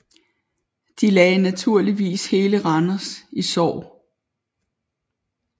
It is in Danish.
De lagde naturligvis hele Randers i sorg